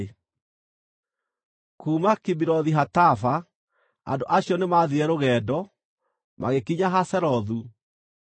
Kuuma Kibirothu-Hataava, andũ acio nĩmathiire rũgendo, magĩkinya Hazerothu, magĩikara kuo.